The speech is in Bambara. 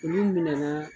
Olu minanaa